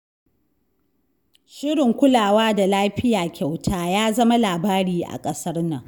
Shirin kulawa da lafiya kyauta ya zama labari a ƙasar nan.